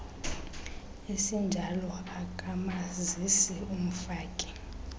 esinjalo akamazisi umfaki